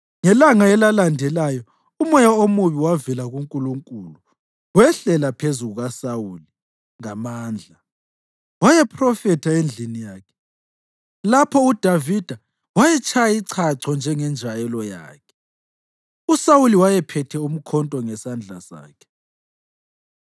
Ngelanga elalandelayo umoya omubi wavela kuNkulunkulu wehlela phezu kukaSawuli ngamandla. Wayephrofetha endlini yakhe, lapho uDavida wayetshaya ichacho njengenjwayelo yakhe. USawuli wayephethe umkhonto ngesandla sakhe,